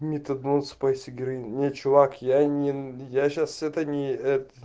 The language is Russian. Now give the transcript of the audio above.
метадон спайс и героин не чувак я не я сейчас это не